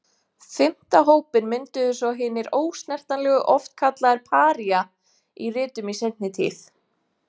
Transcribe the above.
Fimmta hópinn mynduðu svo hinir ósnertanlegu, oft kallaðir Paría í ritum í seinni tíð.